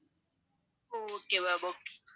okay ma'am okay